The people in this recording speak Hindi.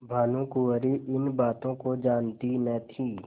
भानुकुँवरि इन बातों को जानती न थी